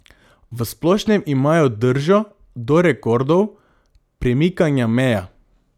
V splošnem imajo držo do rekordov, premikanja meja.